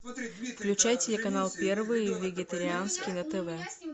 включай телеканал первый вегетарианский на тв